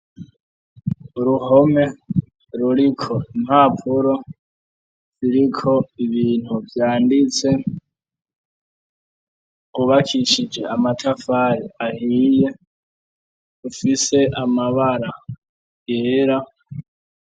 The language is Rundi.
Uruhome ruriko impapuro ziriko ibintu vyanditse kubakishije amatafare ahiye ufise amabara yera.